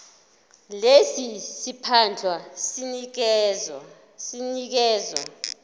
lesi siphandla sinikezwa